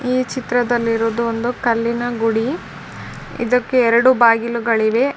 ಈ ಚಿತ್ರದಲ್ಲಿರೋದು ಒಂದು ಕಲ್ಲಿನ ಗುಡಿ ಇದಕ್ಕೆ ಎರೆಡು ಬಾಗಿಲುಗಳಿವೆ .